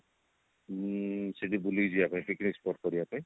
ଉଁ ସେଠି ବୁଲିକି ଯିବା ପାଇଁ picnic spot କରିବା ପାଇଁ